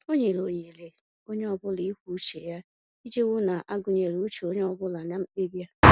O nyere ohere onye ọbụla ikwu uche ya iji hụ a gụnyere uche onye ọ bụla na mkpebi a